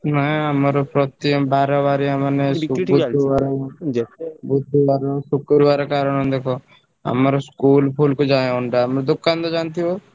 ନାଇଁ ଆମର ପ୍ରତି ବାର ବାରିଆ ମାନେ ବୁଧୁବାରେ, ଶୁକ୍ରବାରେ କାରଣ ଦେଖ ଆମର school ଫୁଲ୍ କୁ ଯାଏ ଅଣ୍ଡା ଆମ ଦୋକାନ ତ ଜାଣିଥିବ।